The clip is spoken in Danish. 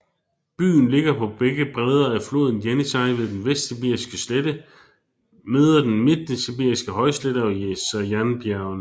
Byen ligger på begge bredder af floden Jenisej ved den Vestsibiriske slette møder den Midtsibiriske højslette og Sajanbjergene